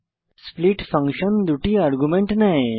split function দুটি argument নেয়